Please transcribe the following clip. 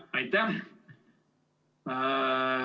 Aitäh!